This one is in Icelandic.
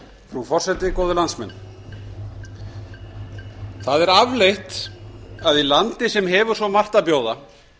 frú forseti góðir landsmenn það er afleitt að í landi sem hefur svo margt að bjóða